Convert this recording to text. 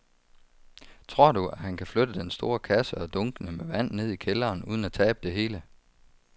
Tror du, at han kan flytte den store kasse og dunkene med vand ned i kælderen uden at tabe det hele?